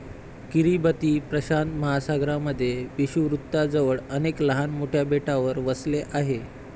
Kiribati प्रशांत महासागरामध्ये विषुववृत्ताजवळ अनेक लहान मोठ्या बेटावर वसले आहे.